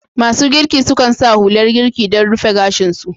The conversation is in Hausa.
Masu girki sukan sa hular girki don rufe gashin su.